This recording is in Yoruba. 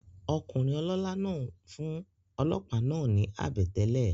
Okùnrin olólá náà n fún olòópá náà ni àbètélè